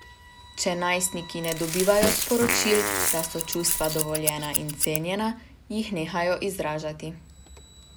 Če najstniki ne dobivajo sporočil, da so čustva dovoljena in cenjena, jih nehajo izražati.